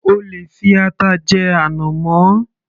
O lè fi ata jẹ ànàmọ́